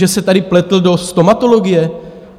Že se tady pletl do stomatologie?